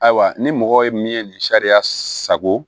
Ayiwa ni mɔgɔ ye min ye nin sariya sago